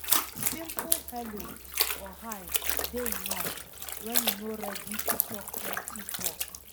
Simple hello or hi dey enough when you no ready to talk plenty talk